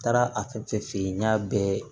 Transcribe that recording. N taara a fɛn fɛn fee yen n y'a bɛɛ